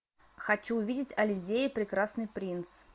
хочу увидеть ализея и прекрасный принц